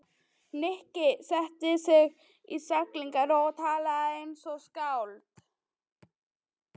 Nikki setti sig í stellingar og talaði eins og skáld.